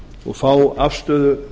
og fá afstöðu